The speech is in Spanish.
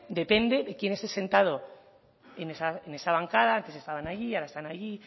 depende de quién esté sentado en esa bancada antes estaban allí ahora están allí